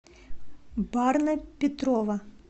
барна петрова